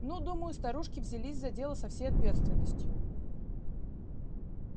ну думаю старушки взялись за дело со всей ответственностью